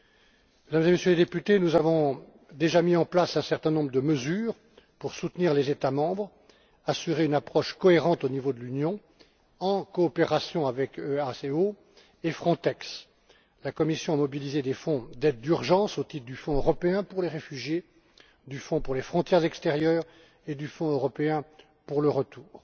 Mesdames et Messieurs les députés, nous avons déjà mis en place un certain nombre de mesures pour soutenir les États membres, assurer une approche cohérente au niveau de l'Union, en coopération avec l'EASO et Frontex. La Commission a mobilisé des fonds d'aide d'urgence, au titre du Fonds européen pour les réfugiés, du Fonds pour les frontières extérieures et du Fonds européen pour le retour.